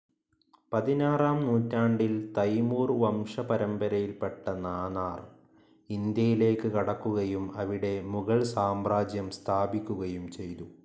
പതിനാറാം നൂറ്റാണ്ടിൽ തൈമൂർ വംശപരമ്പരയിൽപെട്ട നാനാർ, ഇന്ത്യയിലേക്ക് കടക്കുകയും അവിടെ മുഗൾ സാമ്രാജ്യം സ്ഥാപിക്കുകയും ചെയ്തു.